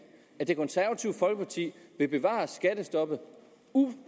at det konservative folkeparti vil bevare skattestoppet